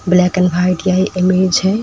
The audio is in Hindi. ब्लैक एंड व्हाइट यह इमेज है।